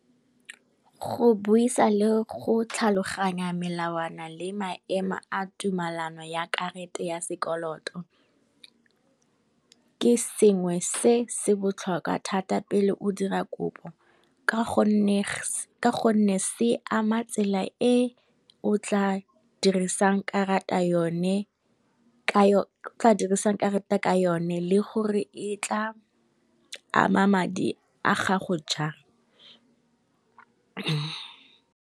Go buisa le go tlhaloganya melawana le maemo a tumelano ya karata ya sekoloto, ke sengwe se se botlhokwa thata pele o dira kopo ka gonne se ama tsela e o tla dirisang karata ka yone le gore e tla ama madi a gago jang.